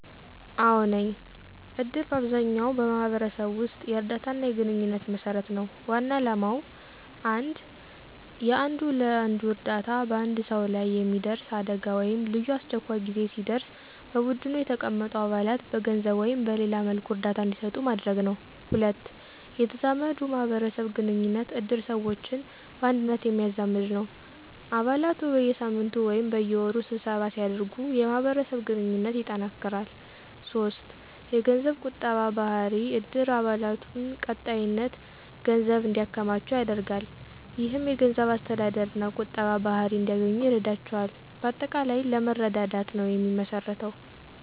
አዎ ነኝ፦ እድር በአብዛኛው ማህበረሰብ ውስጥ የእርዳታና የግንኙነት መሰረት ነው። ዋና ዓላማው 1. የአንዱ ለአንዱ እርዳታ በአንድ ሰው ላይ የሚደርስ አደጋ ወይም ልዩ አስቸኳይ ጊዜ ሲደርስ በቡድኑ የተቀመጡ አባላት በገንዘብ ወይም በሌላ መልኩ እርዳታ እንዲሰጡ ማድረግ ነው። 2. የተዛመዱ ማህበረሰብ ግንኙነት እድር ሰዎችን በአንድነት የሚያዛመድ ነው። አባላቱ በየሳምንቱ ወይም በየወሩ ስብሰባ ሲያደርጉ የማህበረሰብ ግንኙነት ይጠናከራል። 3. የገንዘብ ቁጠባ ባህሪ እድር አባላቱን በቀጣይነት ገንዘብ እንዲያከማቹ ያደርጋል። ይህም የገንዘብ አስተዳደርና ቁጠባ ባህሪ እንዲያገኙ ይረዳቸዋል። በአጠቃላይ ለመረዳዳት ነው የሚመሰረተው።